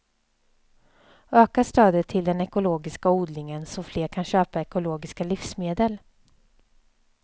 Öka stödet till den ekologiska odlingen så fler kan köpa ekologiska livsmedel.